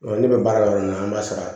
Ne bɛ baara kɛ yɔrɔ min na an b'a sara